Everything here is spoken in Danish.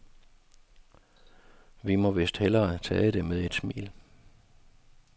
Vi må vist hellere tage det med et smil.